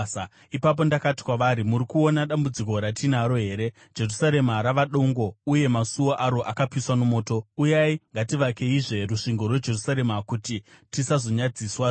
Ipapo ndakati kwavari, “Muri kuona dambudziko ratinaro here: Jerusarema rava dongo, uye masuo aro akapiswa nomoto. Uyai, ngativakeizve rusvingo rweJerusarema, kuti tisazonyadziswazve.”